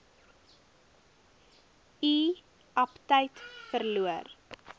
u aptyt verloor